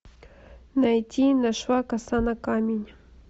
найти нашла коса на камень